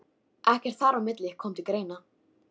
Ekkert þar á milli kom til greina.